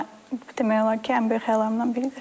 Demək olar ki, ən böyük xəyallarımdan biridir.